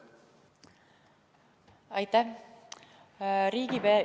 Aitäh!